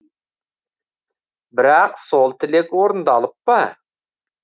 бірақ сол тілек орындалып па